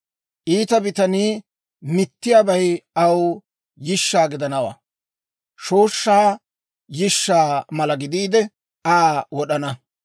Iita bitanii mittiyaabay aw yishsha gidanawaa; shooshshaa yishshaa mala gidiide, Aa wod'ana.